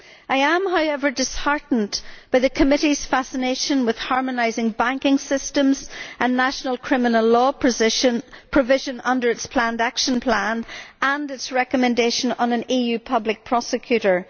I am, however, disheartened by the Committee's fascination with harmonising banking systems and national criminal law provision under its planned action plan, and its recommendation on an EU public prosecutor.